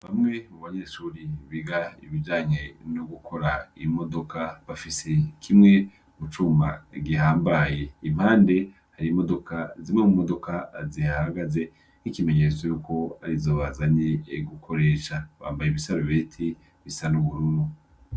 Bamwe mu banyeshuri biga ibijanye no gukora imodoka bafise kimwe gucuma gihambaye impande hari imodoka zimwe mu modoka azihagaze n'ikimenyetso y'uko ari zo bazanye gukoresha bambaye ibisarubeti bisa n'ubururu.